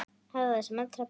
Hafðu það sem allra best.